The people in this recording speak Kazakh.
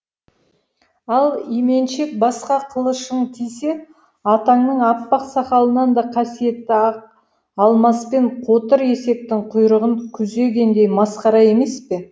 ал именшек басқа қылышың тисе атаңның аппақ сақалынан да қасиетті ақ алмаспен қотыр есектің құйрығын күзегендей масқара емес пе